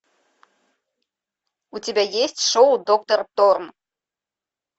у тебя есть шоу доктор торн